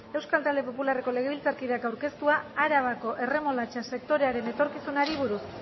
euskal talde popularreko legebiltzarkideak aurkeztua arabako erremolatxa sektorearen etorkizunari buruz